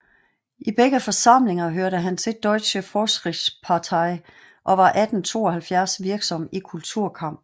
I begge forsamlinger hørte han til Deutsche Fortschrittspartei og var 1872 virksom i kulturkampen